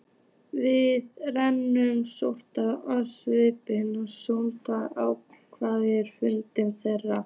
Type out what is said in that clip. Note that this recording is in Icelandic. Við rannsóknir á smáskjálftum á sjöunda áratugnum fundu þeir